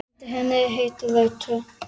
Undir henni er heitur reitur.